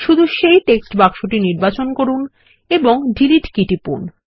শুধু সেই টেক্সট বাক্সটি নির্বাচন করুন এবং ডিলিট কী টিপুন